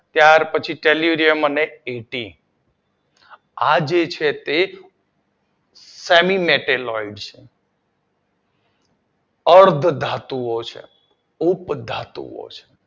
ત્યારપછી સેલ્યુડિયમ અને કેથ્રી આ જે છે એક સેમી મેટલ હોય છે અર્ધ ધાતુ ઑ છે ઉપધાતુઓ છે